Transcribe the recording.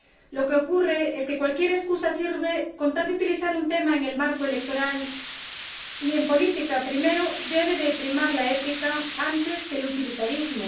Lo que ocurre es que cualquier excusa sirve con tal de utilizar un tema en el marco electoral, y, en política, primero debe primar la ética antes que el utilitarismo